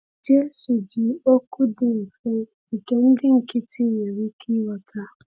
Jésù ji okwu dị mfe nke ndị nkịtị nwere ike ịghọta.